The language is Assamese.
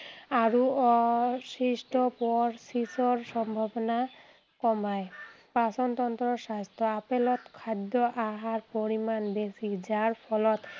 আৰু অৱশিষ্ট পৰচিচৰ সম্ভাৱনা কমাই। পাচন তন্ত্ৰৰ স্বাস্থ্য়। আপেলত খাদ্য় আহাৰ পৰিমাণ বেছি, যাৰ ফলত